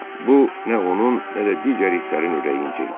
Bu nə onun, nə də digər itlərin ürəyincə idi.